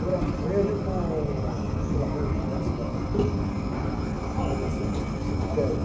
com aquela rua que desce lá, do, do, vai descendo do cemitério.